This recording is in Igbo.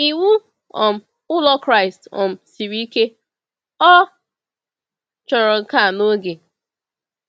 Ịwụ um ụlọ Kraịst um siri ike, ọ chọrọ nka na oge.